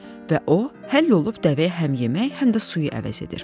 Və o həll olub dəvəyə həm yemək, həm də suyu əvəz edir.